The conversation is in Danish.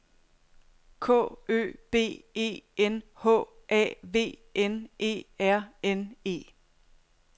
K Ø B E N H A V N E R N E